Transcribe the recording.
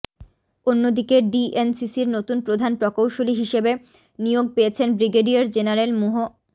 অন্যদিকে ডিএনসিসির নতুন প্রধান প্রকৌশলী হিসেবে নিয়োগ পেয়েছেন ব্রিগেডিয়ার জেনারেল মুহ